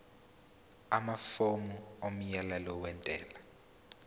amafomu omyalelo wentela